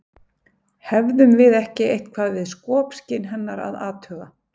hefðum við ekki eitthvað við skopskyn hennar að athuga